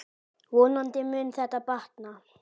Vonandi mun þetta batna.